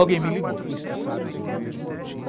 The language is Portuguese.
Alguém me ligou.